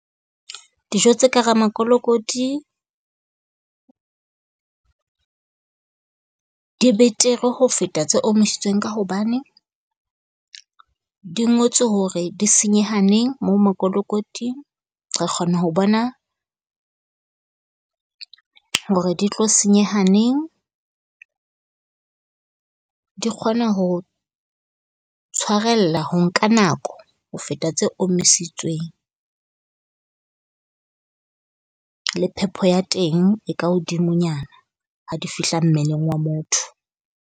Dijo tse ka hara mokolokoti di betere ho feta tse omisitsweng ka hobane, di ngotswe hore di senyeha neng moo makolokoting. Re kgona ho bona hore di tlo senyeha neng. Di kgona ho tshwarella ho nka nako ho feta tse omisitsweng le phepo ya teng e ka hodimonyana ha di fihla mmeleng wa motho.